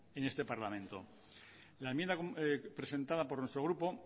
en este parlamento la enmienda presentada por nuestro grupo